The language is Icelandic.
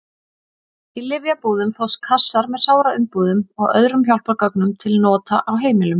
Í lyfjabúðum fást kassar með sáraumbúðum og öðrum hjálpargögnum til nota á heimilum.